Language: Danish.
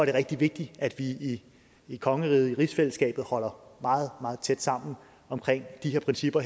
er rigtig vigtigt at vi i i kongeriget i rigsfællesskabet holder meget meget tæt sammen omkring de her principper